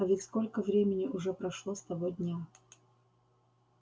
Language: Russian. а ведь сколько времени уже прошло с того дня